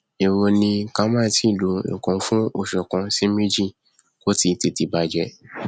ẹwo ni ká má tíì lo nkan fún oṣù kan sí méjì kóti tètè bàjẹ